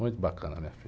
Muito bacana minha filha.